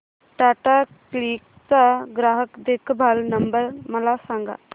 Tata click चा ग्राहक देखभाल नंबर मला सांगा